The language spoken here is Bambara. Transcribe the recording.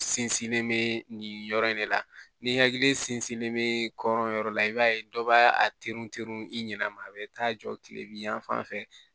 Sinsinlen bɛ nin yɔrɔ in de la ni hakili sinsinlen bɛ kɔrɔn yɔrɔ la i b'a ye dɔ b'a a trun teri i ɲɛna a bɛ taa jɔ tilebi fan fɛ